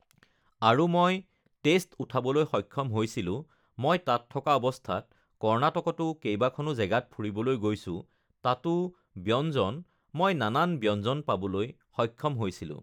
আৰু মই টেষ্ট উঠাবলৈ সক্ষম হৈছিলোঁ মই তাত থকা অৱস্থাত কৰ্ণাটকতো কেইবাখনো জেগাত ফুৰিবলৈ গৈছোঁ তাতো ব্য়ঞ্জন মই নানান ব্যঞ্জন পাবলৈ সক্ষম হৈছিলোঁ